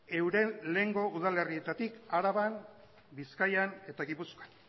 euren lehengo udalerrietatik araban bizkaian eta gipuzkoan